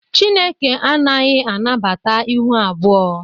Chineke anaghị anabata ịhụ abụọ